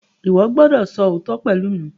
O gbọdọ so ootọ pẹlú mí!